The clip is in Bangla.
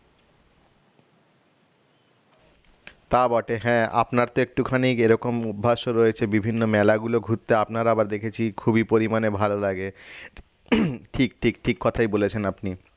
তা বটে হ্যাঁ আপনার তো একটুখানি এরকম অভ্যাসও রয়েছে বিভিন্ন মেলাগুলো ঘুরতে আপনার আবার দেখেছি খুবই পরিমানে ভালো লাগে ঠিক ঠিক ঠিক কথাই বলেছেন আপনি